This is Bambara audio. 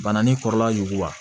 Bana ni kɔrɔla yuguba